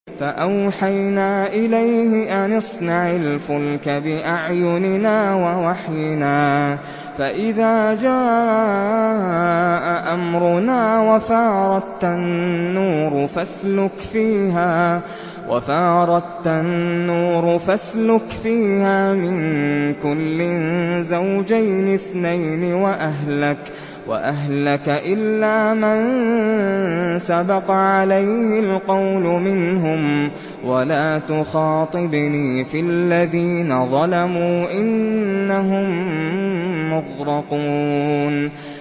فَأَوْحَيْنَا إِلَيْهِ أَنِ اصْنَعِ الْفُلْكَ بِأَعْيُنِنَا وَوَحْيِنَا فَإِذَا جَاءَ أَمْرُنَا وَفَارَ التَّنُّورُ ۙ فَاسْلُكْ فِيهَا مِن كُلٍّ زَوْجَيْنِ اثْنَيْنِ وَأَهْلَكَ إِلَّا مَن سَبَقَ عَلَيْهِ الْقَوْلُ مِنْهُمْ ۖ وَلَا تُخَاطِبْنِي فِي الَّذِينَ ظَلَمُوا ۖ إِنَّهُم مُّغْرَقُونَ